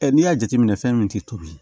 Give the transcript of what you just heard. n'i y'a jateminɛ fɛn min tɛ tobi